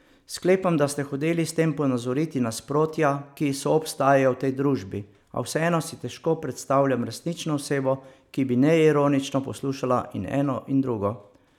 Sklepam, da ste hoteli s tem ponazoriti nasprotja, ki soobstajajo v tej družbi, a vseeno si težko predstavljam resnično osebo, ki bi neironično poslušala in eno in drugo.